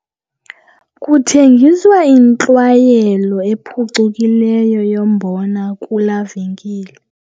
Kuthengiswa intlwayelo ephucukileyo yombona kulaa venkile.